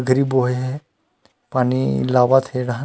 गरीब बॉय हे पानी लावत हे रहन--